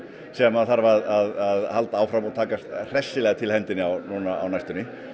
sem þarf að halda áfram og taka hressilega til hendinni núna á næstunni